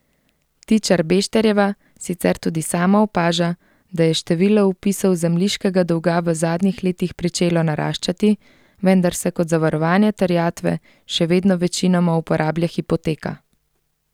Tičar Bešterjeva sicer tudi sama opaža, da je število vpisov zemljiškega dolga v zadnjih letih pričelo naraščati, vendar se kot zavarovanje terjatve še vedno večinoma uporablja hipoteka.